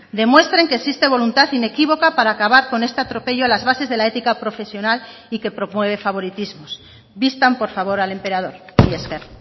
demuestren que existe voluntad inequívoca para acabar con este atropello a las bases de la ética profesional y que promueve favoritismos vistan por favor al emperador mila esker